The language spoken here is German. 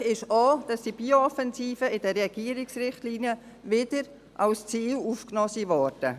Erfreulich ist auch, dass die Bio-Offensive wieder als Ziel in die Regierungsrichtlinien aufgenommen wurde.